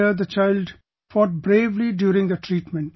There the child fought bravely during the treatment